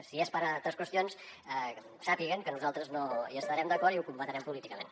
si és per a altres qüestions sàpiguen que nosaltres no hi estarem d’acord i ho combatrem políticament